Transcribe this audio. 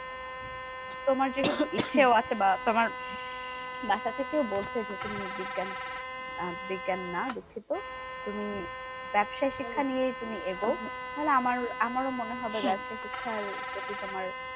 তোমার যেহেতু ইচ্ছেও আছে বা তোমার বাসা থেকে বলছে যে, তুমি বিজ্ঞান আহ বিজ্ঞান না দুঃখিত। তুমি ব্যবসায়ী শিক্ষা নিয়েই তুমি এগোও তাহলে আমার আমারও মনে হবে, ব্যবসায়ী শিক্ষার প্রতি তোমার